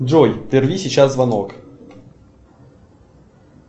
джой прерви сейчас звонок